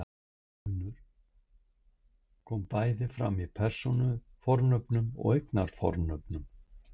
Þessi munur kom bæði fram í persónufornöfnum og eignarfornöfnum.